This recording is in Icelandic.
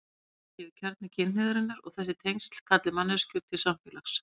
Tengsl séu kjarni kynhneigðarinnar og þessi tengsl kalli manneskjur til samfélags.